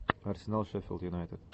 арсенал шеффилд юнайтед